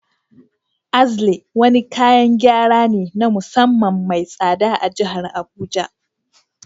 Axle wani kayan gyara ne na musamman mai tsada a jihar Abuja